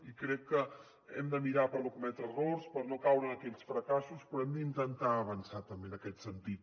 i crec que hem de mirar per no cometre errors per no caure en aquells fracassos però hem d’intentar avançar també en aquest sentit